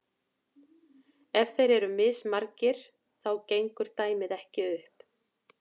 ef þeir eru mismargir þá gengur dæmið ekki upp